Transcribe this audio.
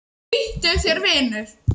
Flýttu þér, vinur.